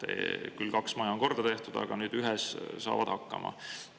Kaks maja on küll korda tehtud, aga nüüd saadakse ühes hakkama.